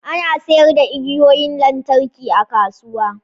Ana sayar da igiyoyin lantarki a kasuwa